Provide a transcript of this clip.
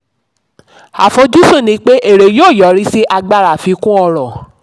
àfojúsùn ni pé èrè yóò yọrí sí agbára àfikún ọrọ̀.